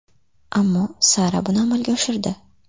Ammo Sara buni amalga oshirdi.